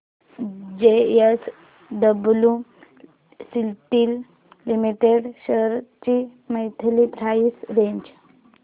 JSW steel limited shares ची monthly price range